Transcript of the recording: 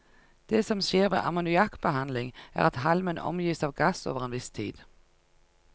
Det som skjer ved ammoniakkbehandling, er at halmen omgis av gass over en viss tid.